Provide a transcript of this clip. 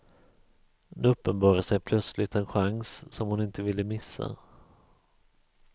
Nu uppenbarade sig plötsligt en chans som hon inte ville missa.